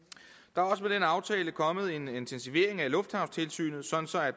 der er også med den aftale kommet en intensivering af lufthavnstilsynet sådan så